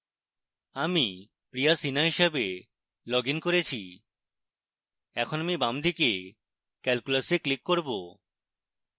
আমি priya sinha হিসেবে log in করেছি এখন আমি বাম দিকে calculus এ click করব